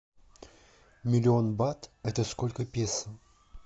миллион бат это сколько песо